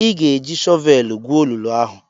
Ị ga-eji shọvelu gwuo olulu ahụ!